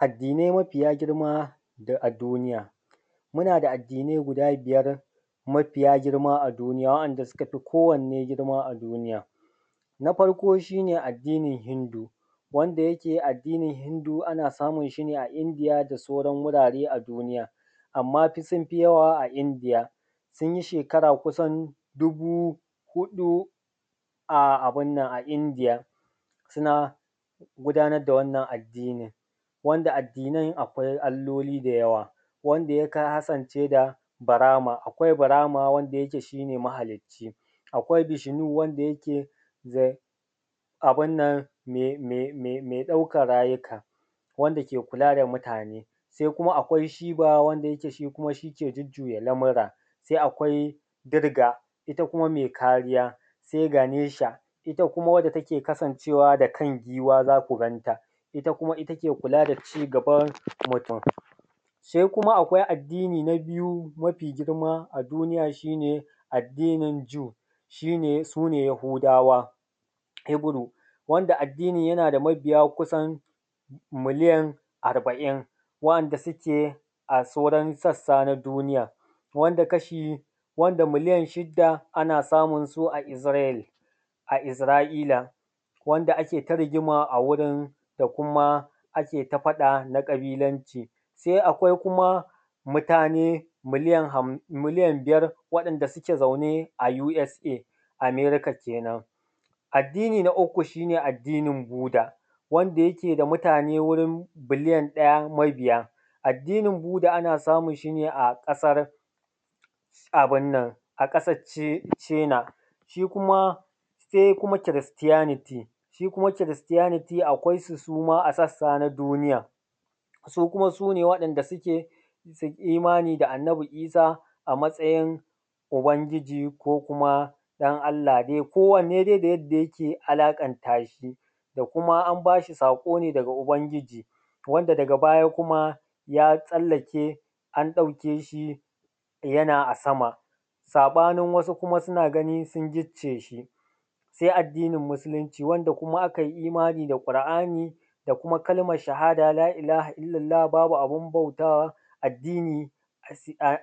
Addinai mafiya girma a duniya muna da addinai mafiya girma guda biyar a duniya wa’yanda suka fi kowanne girma a duniya. Na farko shi ne addinin Hinmdu wanda yake addini Hindu ana samun shi ne a Indiya ko wasu wurare a duniya, anma dai sun fi yawa a Indiya tin shekara kusan 4000, a India suna gudanar da wannan addini nasu wanda addinan akwai alloli da yawa wanda ya kasance da akwai birama wanda yake shi ne mahaliccinsu, akwai ishinu wanda yake abin nan ne ɗauka rayuka wanda ke kula da mutane, se kuma akwai shiba wanda ke jujjuya lamura. Se akwai dirga ita kuma mai kariya, se ganisha ita kuma wanda take kasancewa da kan giwa za ku ganta ita take kula da cigaban mutum. Sai kuma akwai addini na biyu a duniya shi ne addinin Ju, su ne Yahudawa wanda addinmi yana da mabiya kusan miliyan arba’in wanda suke a sauran sassa na duniya wanda miliyan shida ana samun su a Izrai a Israiyla wanda ake ta rigima a wurin da kuma ake ta faɗa na ƙabilanci. Se akwai kuma mutane miliyan biyar wanda suke zaune a u s a, Amerika kenan. Addini na uku shi ne addinin Budda wanda yake da mutane kusan miliyan ɗaya, addinin buda ana samun shi ne a ƙasan China, se kuma Kiristiyaniti, se kuma kiristiyaniti akwaisu kuma a sassa na duniya su kuma su ne wanda sukai imani da annabi Isa a matsayin ubangiji ko kuma ɗan Allah kowanne dai da yanda yake alaƙanta shi da kuma in ba shi saƙo ne daga ubangiji wanda daga baya kuma ya tsallake an ɗauke shi yana a sama saɓanin wasu suna ganin an gicciye shi, sai addinin musulinci wanda a kai imani da ƙur’an da kuma kalman shahada La’ilaha illallah, babu abin bautawa,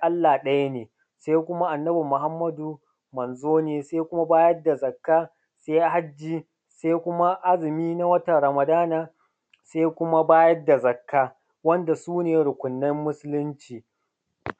Allah ɗaya ne se kuma annabi Muhammadu manzo ne, se kuma bayar da zakka, se hajji, se kuma azumi na watan Ramadan, se kuma bayar da zakka wanda su ne rukunnan musulinci.